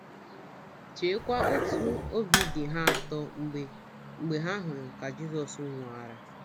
Cheekwa otú obi dị ha atọ mgbe mgbe ha hụrụ ka Jizọs nwoghara.